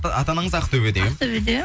ата анаңыз ақтөбеде ақтөбеде